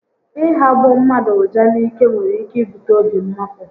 Ị hagbọ mmadụ uja n'ike nwere ike ibute obi mmapụ